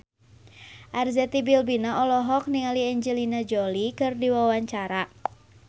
Arzetti Bilbina olohok ningali Angelina Jolie keur diwawancara